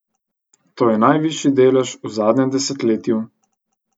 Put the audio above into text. To je najvišji delež v zadnjem desetletju.